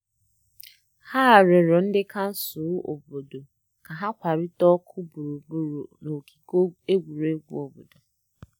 Ha rịọrọ ndị kansụl obodo ka ha kwalite ọkụ gburugburu ogige egwuregwu obodo.